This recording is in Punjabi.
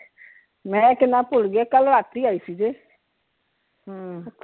ਮੈਂ ਕਹਿਣਾ ਭੁੱਲ ਗਈ ਕੱਲ ਰਾਤੀ ਆਈ ਸੀ ਹਮ